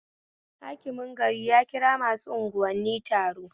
Hakimin gari ya kira masu anguwanni taron